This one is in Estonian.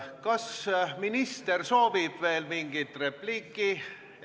Kas minister soovib veel öelda mingit repliiki?